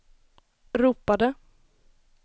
ropade